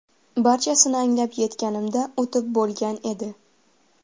Barchasini anglab yetganimda o‘tib bo‘lgan edi.